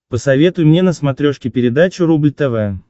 посоветуй мне на смотрешке передачу рубль тв